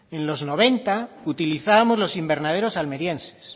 en los noventa utilizábamos los invernaderos almerienses